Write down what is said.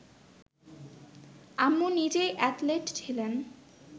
আম্মু নিজেই অ্যাথলেট ছিলেন